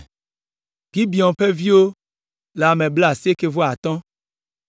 Gibeon ƒe viwo le ame blaasieke-vɔ-atɔ̃ (95).